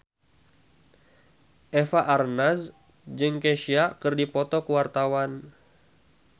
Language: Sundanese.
Eva Arnaz jeung Kesha keur dipoto ku wartawan